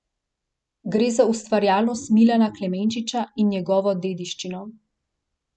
Gre za ustvarjalnost Milana Klemenčiča in njegovo dediščino.